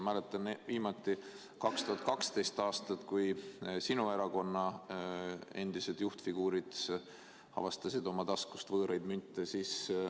Mäletan, see oli viimati 2012. aastal, kui sinu erakonna endised juhtfiguurid avastasid oma taskust võõraid münte.